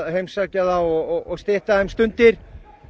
heimsækja þá og stytta þeim stundir